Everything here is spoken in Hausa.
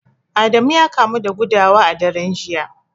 Adamu ya kamu da gudawa a daren jiya